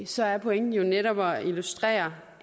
så er pointen netop at illustrere